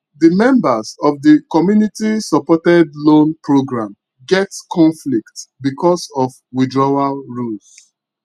the members of the communitysupported loan program get conflict because of withdrawal rules